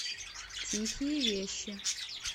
тихие вещи